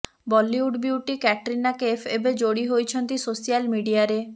Bollywood beauty Katrina Kaif ଏବେ ଯୋଡି ହୋଇଛନ୍ତି ସୋସିଆଲ ମିଡିଆରେ